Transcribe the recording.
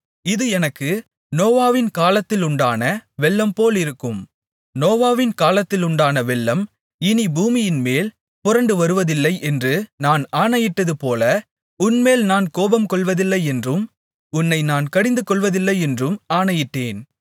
இது எனக்கு நோவாவின் காலத்திலுண்டான வெள்ளம்போல் இருக்கும் நோவாவின் காலத்திலுண்டான வெள்ளம் இனி பூமியின்மேல் புரண்டுவருவதில்லை என்று நான் ஆணையிட்டதுபோல உன்மேல் நான் கோபம்கொள்வதில்லையென்றும் உன்னை நான் கடிந்துகொள்வதில்லையென்றும் ஆணையிட்டேன்